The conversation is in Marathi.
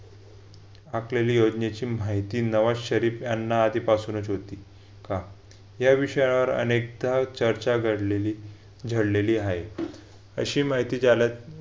आखलेली योजनेची माहिती नवा शरीफ यांना आधीपासूनच होती का? या विषयावर अनेकदा चर्चा घडलेली झडलेली आहे अशी माहिती ज्याला